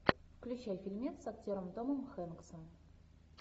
включай фильмец с актером томом хэнксом